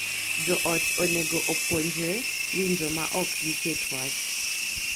Jo ot onego opuonjre winjo ma ok giket wach